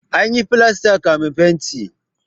Ana yin filasta kafin fenti.